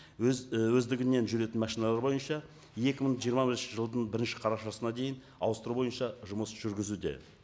өз і өздігінен жүретін машиналар бойынша екі мың жиырма бірінші жылдың бірінші қарашасына дейін ауыстыру бойынша жұмыс жүргізуде